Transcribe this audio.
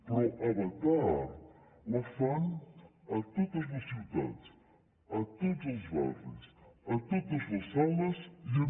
però avatar la fan a totes les ciutats a tots els barris a totes les sales i en